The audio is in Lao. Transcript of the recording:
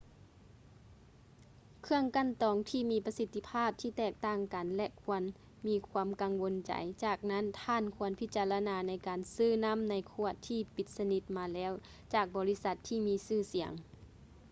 ເຄື່ອງກັ່ນຕອງມີປະສິດທິພາບທີ່ແຕກຕ່າງກັນ ແລະ ຄວນມີຄວາມກັງວົນໃຈ ຈາກນັ້ນທ່ານຄວນພິຈາລະນາໃນການຊື້ນໍ້າໃນຂວດທີ່ປິດສະນິດມາແລ້ວຈາກບໍລິສັດທີ່ມີຊື່ສຽງ